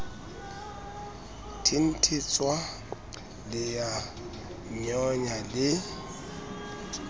thenthetswa le a nyonya le